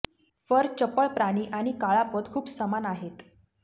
fur चपळ प्राणी आणि काळा पोत खूप समान आहेत